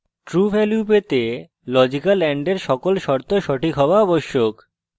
true value পাওয়ার জন্য logical and এর সকল শর্ত সঠিক হওয়া আবশ্যক